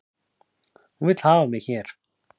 Hún vill hafa mig hér